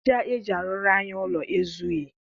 Aja eji arụrụ anyị ụlọ ezughị.